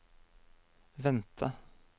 vente